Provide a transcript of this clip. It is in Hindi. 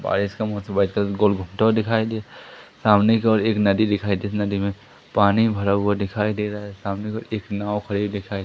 बारिश का मौसम व्हाईट कलर गोल भुट्टा दिखाई दे सामने की ओर एक नदी दिखाई दे नदी में पानी भरा हुआ दिखाई दे रहा है सामने की ओर एक नाव खड़ी दिखाई --